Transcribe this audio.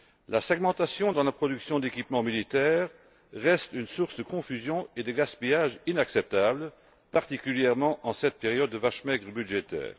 La segmentation dans la production d'équipements militaires reste une source de confusion et de gaspillage inacceptable, particulièrement en cette période de vaches maigres budgétaires.